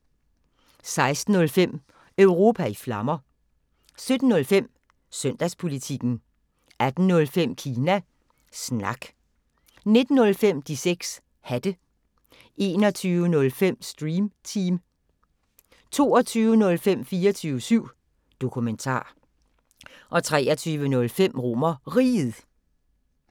16:05: Europa i Flammer 17:05: Søndagspolitikken 18:05: Kina Snak 19:05: De 6 Hatte 21:05: Stream Team 22:05: 24syv Dokumentar 23:05: RomerRiget